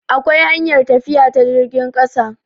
akwai hanyar tafiya ta jirgin ƙasa